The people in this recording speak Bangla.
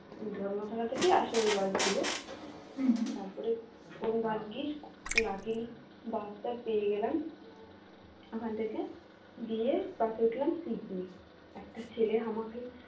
ধর্মতলা থেকে আসে ওই bus গুলো তারপরে কোন ভাগ্যিস luckily bus টা পেয়ে গেলাম ওখান থেকে, দিয়ে বাসে উঠলাম seat নেই একটা ছেলে আমাকে